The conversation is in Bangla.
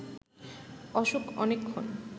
অশোক অনেকক্ষণ